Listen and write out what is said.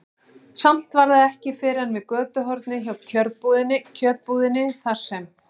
Samt var það ekki fyrr en við götuhornið hjá kjötbúðinni, þar sem